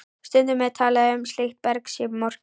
Stundum er talað um að slíkt berg sé morkið.